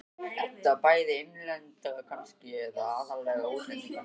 Edda: Bæði innlendra kannski, eða aðallega útlendinganna?